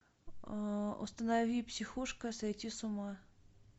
установи психушка сойти с ума